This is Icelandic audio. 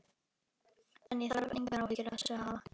En ég þarf engar áhyggjur af þessu að hafa.